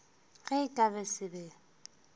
ge e ka se be